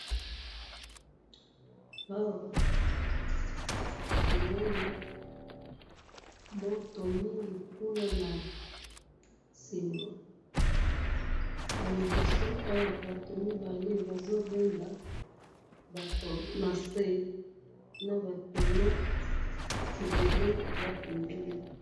Awa tomoni moto mingi kuna na sima na liboso awa batu mibale bazo benda nase naba toneaux ebele eza pembeni.